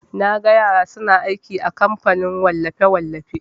Naga yara suna aiki a kamfanin wallafe-wallafe.